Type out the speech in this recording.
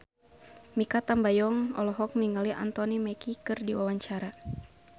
Mikha Tambayong olohok ningali Anthony Mackie keur diwawancara